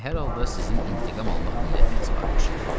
Deməli, hər halda sizin intiqam almaq niyyətiniz varmış.